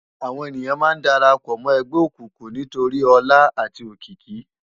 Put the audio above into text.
Àwón éniyán má n dàrâpò mò ègbè ókúkú nitóri òlá âti ókiki